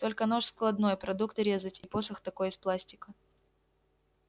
только нож складной продукты резать и посох такой из пластика